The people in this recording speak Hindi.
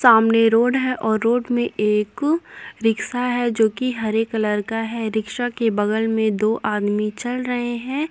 सामने रोड है और रोड में एक रिक्सा है जो कि हरे कलर का है। रिक्शा के बगल में दो आदमी चल रहे हैं।